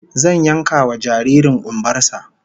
Zan yankewa jaririn kumbar sa